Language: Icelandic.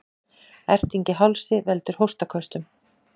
Erting í hálsi veldur hóstaköstunum.